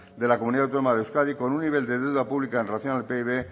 de la comunidad autónoma de euskadi con un nivel de deuda pública en relación al pib